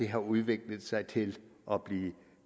har udviklet sig til at blive